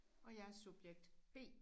Og jeg er subjekt B